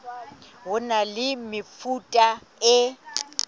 ho na le mefuta e